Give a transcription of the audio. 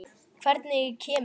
Hvernig kemur